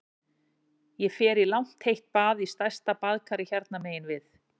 Ég fer í langt heitt bað í stærsta baðkari hérna megin við